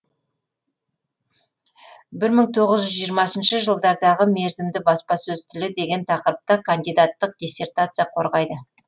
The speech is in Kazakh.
бір мың тоғыз жүз жиырмасыншы жылдардағы мерзімді баспасөз тілі деген тақырыпта кандидаттық диссертация қорғайды